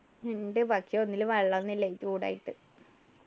ഇണ്ട് പക്ഷെ ഒന്നിലും വെള്ളൊന്നും ഇല്ല ഈ ചൂടായിട്ട്